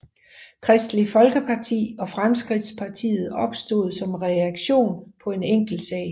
Kristeligt Folkeparti og Fremskridtspartiet opstod som reaktion på enkeltsager